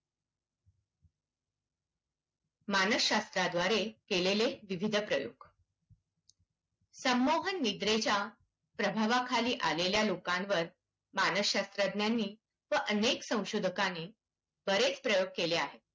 मानसशास्त्राद्वारे केलेले विविध प्रयोग. संमोहन निद्रेच्या प्रभावाखाली आलेल्या लोकांवर मानसशास्त्रज्ञांनी व अनेक संशोधकांनी बरेच प्रयोग केले आहेत.